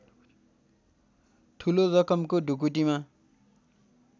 ठूलो रकमको ढुकुटीमा